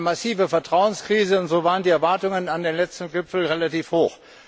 Wir haben eine massive Vertrauenskrise, und so waren die Erwartungen an den letzten Gipfel relativ hoch.